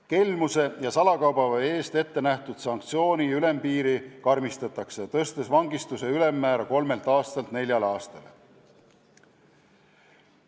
Kelmuse ja salakaubaveo eest ette nähtud sanktsiooni ülempiiri karmistatakse, tõstes vangistuse ülemmäära kolmelt aastalt neljale aastale.